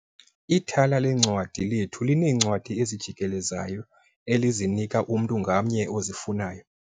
Ithala leencwadi lethu lineencwadi ezijikelezayo elizinika umntu ngamnye ozifunayo.